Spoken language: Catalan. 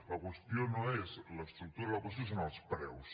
la qüestió no és l’estructura la qüestió són els preus